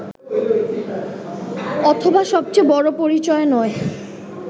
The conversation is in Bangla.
অথবা সবচেয়ে বড়ো পরিচয় নয়